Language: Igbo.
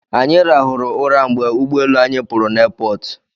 Anyị rahụrụ ụra mgbe ụgbọelu anyị pụrụ na aiipọọtụ